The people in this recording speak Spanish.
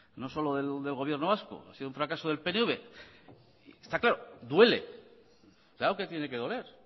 no solo del gobierno vasco ha sido un fracaso del pnv y está claro duele claro que tiene que doler